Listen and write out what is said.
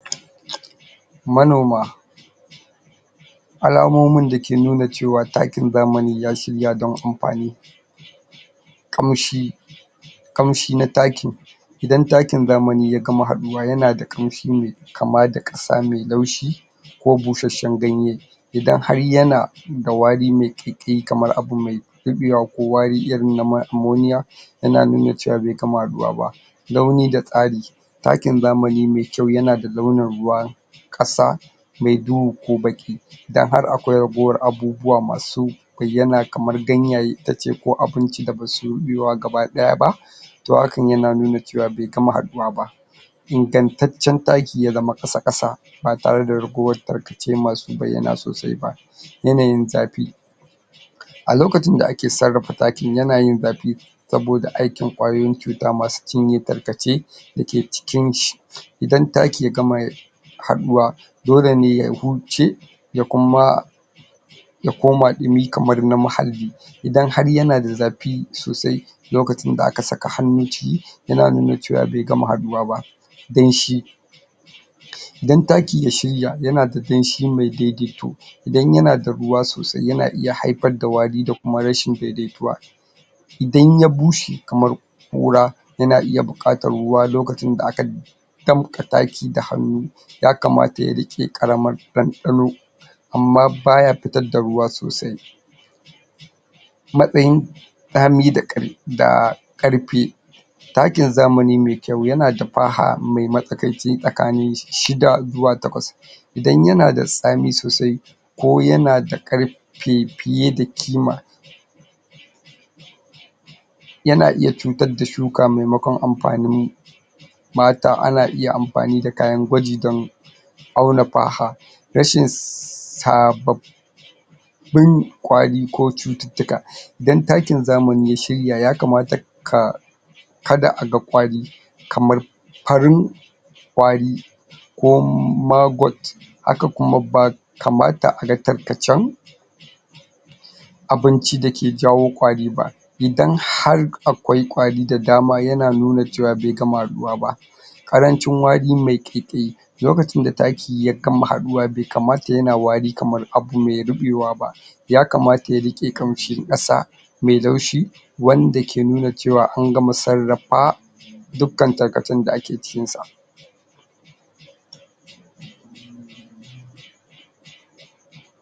Manoma alamomin dake nuna cewa takin zamani ya shirya don amfani ƙamshi ƙamshi na taki idan takin zamani ya gama haɗuwa yana da ƙamshi me kama da ƙasa mai laushi ko busasshen ganye idan har yana da wari mai ƙaiƙayi kamar abu mai riɓewa ko wari irin mai amoniya yana nuna cewa bai gama haɗuwa ba launi da tsari takin zamani mai kyau yana da launin ruwan ƙasa mai duhu ko baƙi idan har akwai ragowar abubuwa masu bayyana kamar gayaye itace ko abinci da ba su riɓewa gabaɗaya ba to hakan yana nuna cewa bai gma haɗuwa ba ingantacce taki ya zama ƙasa-ƙasa ba tare ragowar tarkace masu bayyana sosai ba yanayin zafi a lokacin da ake sarrafa takin yana yin zafi sabioda aikin ƙwayoyin cuta masu cinye tarkace dake cikin shi idan taki ya gama haɗuwa dole ne ya huce ya kuma ya koma ɗumi kamar na mahalli idan har yana da zafi sosai lokacin da aka saka hannu ciki yana nuna cewa bai gama haɗuwa ba danshi idan taki ya shirya yana da danshi mai daidaito idan da ruwa sosai yana iya haifar wari da kuma rashin daidaituwa idan ya bushe kamar ƙura yana iya buƙatar ruwa lokacin da aka damƙa taki da hannu ya kamata ya riƙe ƙaramar ɗanɗano amma ba ya fitar da ruwa sosai matsayin tsami da...ƙar...da ƙarfe takin zamani mai kyau yana da faha mai matsakaici tsakanin shi... shida zuwa takwas idan yana da tsami sosai ko yana da ƙar... fe fite da ƙima yana iya cutar da shuka maimakon amfanin mutum ana iya amfani da kayan gwaji don auna faha rashin............. sabab bun ƙwari ko cututtuka idan takin zamani ya shirya ya kamata ka kada a ga ƙwari kamar farin ƙwarin ko ma...got haka kuma bai kamata a ga tarkacen abinci dake jawo ƙwari ba idan har akwai ƙwari da dama yana nuna cewa bai gama haɗuwa ba ƙaranci wari mai ƙaiƙayi lokacin da taki ya gama haɗuwa bai kamata yana wari kamar abu mai ruɓewa ba ya kamata ya riƙe ƙamshin ƙasa mai laushi wanda ke nuna cewa an gama sarrafa dukkan tarkacen ya ake cikin sa